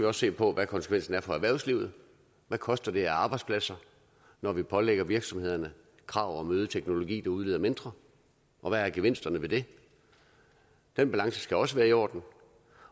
også se på hvad konsekvensen er for erhvervslivet hvad koster det af arbejdspladser når vi pålægger virksomhederne krav om øget teknologi der udleder mindre og hvad er gevinsterne ved det den balance skal også være i orden